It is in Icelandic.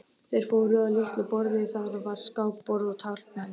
Þeir fóru að litlu borði, þar var skákborð og taflmenn.